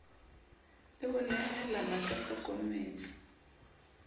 le ho nehalana a hlokometse